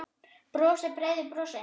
Brosir breiðu brosi.